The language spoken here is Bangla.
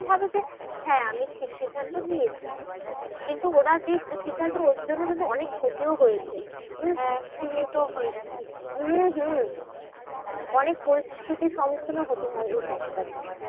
হ্যাঁ আমি ঠিক সিদ্ধান্ত নিয়েছি। কিন্তু ওরা যে সিদ্ধান্ত ওর জন্য কিন্তু অনেক ক্ষতিও হয়েছে। হম হম অনেক পরিস্থিতির সম্মুখীনও হতে হয় এই time টা তে।